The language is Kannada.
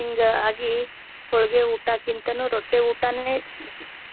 ಹಿಂಗಾಗಿ ಹೊಳ್ಗಿ ಊಟಕ್ಕಿಂತಾನು ರೊಟ್ಟಿ ಊಟಾನೇ